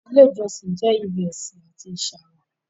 Ìlẹ̀ ìjọ̀ṣìn jẹ́ ibẹ̀ isin àti ìṣàrọ̀.